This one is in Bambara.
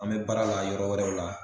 An bɛ baara la yɔrɔ wɛrɛw la